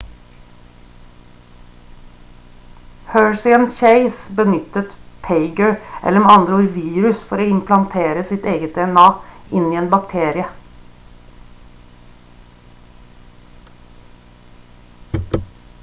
hershey og chase benyttet phager eller med andre ord virus for å implantere sitt eget dna inn i en bakterie